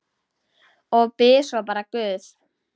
Og bið svo bara guð.